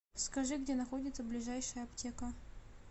скажи где находится ближайшая аптека